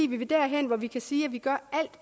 vi vil derhen hvor vi kan sige at vi gør alt